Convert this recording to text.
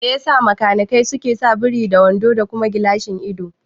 Mai yasa makanikai suke sa buri da wando da kuma gilashin ido?